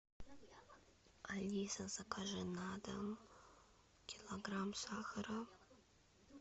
алиса закажи на дом килограмм сахара